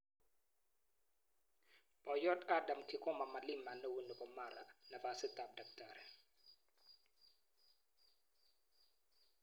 Poiyot Adam Kigoma Malima neoo nepo Mara nafasit ap Dkt